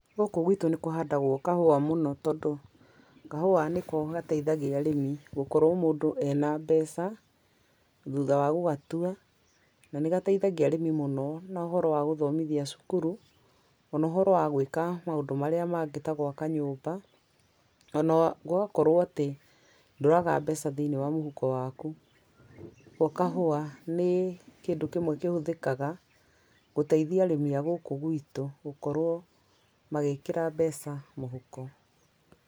Gũkũ gwitũ nĩ kũhandagwo kahuwa mũno, tondũ kahuwa nĩko gateithagia arĩmi gũkorwo mũndũ ena mbeca, thutha wa gũgatwa, na nĩ gateithagia arĩmi mũno na ũhoro wa gũthomithia cukuru ona ũhoro wa gwĩka maũndũ marĩa mangĩ, ta gwaka nyũmba, ona gũgakorwo atĩ nduraga mbeca thĩinĩ wa mũhuko waku, ũguo kahũwa, nĩ kĩndũ kĩmwe kĩhũthĩkaga, gũteithia arĩmi agũkũ gwĩtũ gũkorwo magĩkĩra mbeca mũhuko.